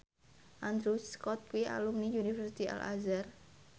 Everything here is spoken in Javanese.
Andrew Scott kuwi alumni Universitas Al Azhar